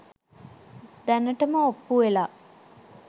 දැනටම ඔප්පු වෙලා.